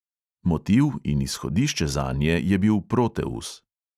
Motiv in izhodišče zanje je bil proteus.